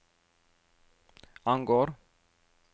angår